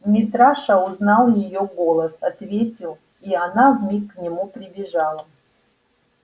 митраша узнал её голос ответил и она вмиг к нему прибежала